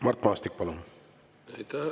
Mart Maastik, palun!